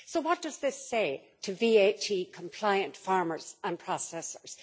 So what does this say to VAT compliant farmers and processors?